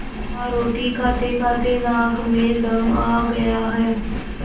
हाँ रोटी खातेखाते नाक में दम आ गया है